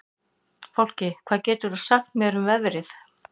Fálki, hvað geturðu sagt mér um veðrið?